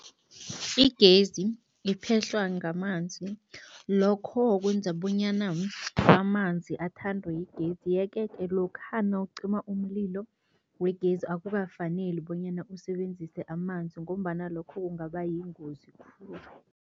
Igezi iphehlwa ngamanzi. Lokho kwenza bonyana amanzi athandwe yigezi yeke-ke lokha nawucima umlilo wegezi, akukafaneli bonyana usebenzise amanzi ngombana lokho kungaba yingozi khulu.